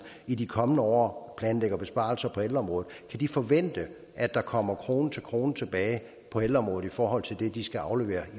i de kommende år planlægger besparelser på ældreområdet kan forvente at der kommer krone til krone tilbage på ældreområdet i forhold til det de skal aflevere